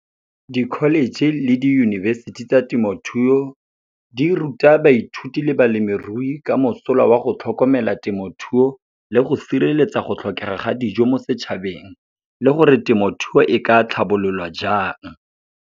Di-college le diyunibesithi tsa temothuo, di ruta baithuti le balemirui ka mosola wa go tlhokomela temothuo, le go sireletsa go tlhokega ga dijo mo setšhabeng, le gore temothuo e ka tlhabololwa jang.